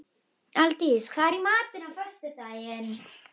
Aldís, hvað er í matinn á föstudaginn?